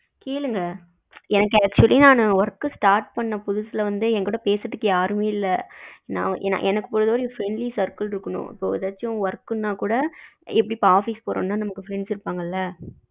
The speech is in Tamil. கேளுங்க எனக்கு actually நானு நானு work start பண்ண புதுசுல என்கிட்ட பேசுறதுக்கு யாருமே இல்ல எனக்கு friendly circle இருக்கனும் இப்போ எதாச்சும் work ன்னா கூட எப்படி இப்போ office போறோம்ன்ன கூட friends இருப்பங்கள்ல